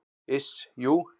Iss, jú.